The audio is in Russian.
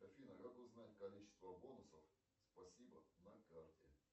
афина как узнать количество бонусов спасибо на карте